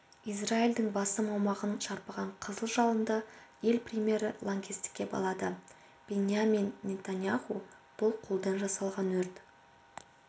израильдің басым аумағын шарпыған қызыл жалынды ел премьері лаңкестікке балады биньямин нетаньяху бұл қолдан жасалған өрт